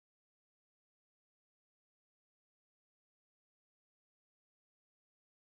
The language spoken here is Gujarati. યાદીમાંથી ક્યુબ પસંદ કરો